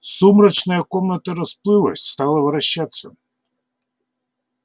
сумрачная комната расплылась стала вращаться